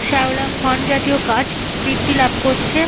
শেওলা fern জাতীয় গাছ বৃদ্ধি লাভ করছে।